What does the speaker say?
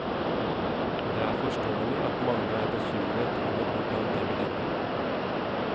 Det er forståelig at mange er bekymret over hvordan det vil ende.